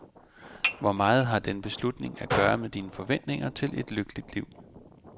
Hvor meget har den beslutning at gøre med dine forventninger til et lykkeligt liv.